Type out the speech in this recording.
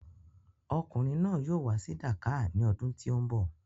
Ọkùnrin náà yóò wá sí Dakar ní ọdún tí o ń bọ̀.